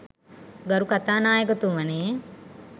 ගරු කතානායකතුමනි